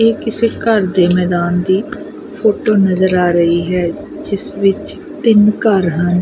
ਇਹ ਕਿਸੇ ਘਰ ਦੇ ਮੈਦਾਨ ਦੀ ਫੋਟੋ ਨਜ਼ਰ ਆ ਰਹੀ ਹੈ ਜਿੱਸ ਵਿੱਚ ਤਿੰਨ ਘੱਰ ਹਨ।